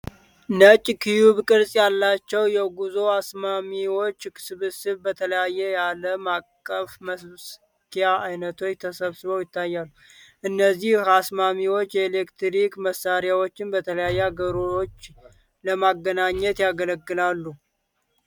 ነጭ ኪዩብ ቅርጽ ያላቸው የጉዞ አስማሚዎች ስብስብ በተለያዩ የአለም አቀፍ መሰኪያ አይነቶች ተሰብስቦ ይታያል፤ እነዚህ አስማሚዎች የኤሌክትሪክ መሳሪያዎችን በተለያዩ አገሮች ለማገናኘት ያገለግላሉ?